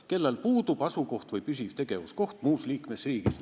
kellel puudub asukoht või püsiv tegevuskoht muus liikmesriigis.